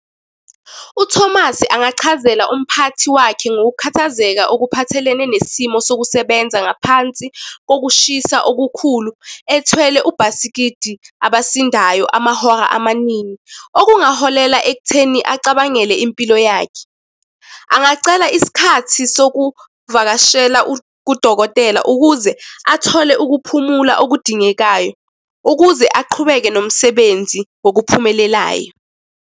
UThomas angachazela umphathi wakhe ngokukhathazeka okuphathelene nesimo sokusebenza ngaphansi kokushisa okukhulu ethwele ubhasikidi abasindayo amahora amaningi. Okungaholela ekutheni acabangele impilo yakhe. Angacela isikhathi sokuvakashela kudokotela ukuze athole ukuphumula okudingekayo, ukuze aqhubeke nomsebenzi ngokuphumelelayo.